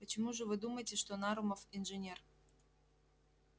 почему же вы думаете что нарумов инженер